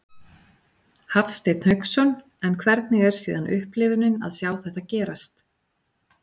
Hafsteinn Hauksson: En hvernig er síðan upplifunin að sjá þetta gerast?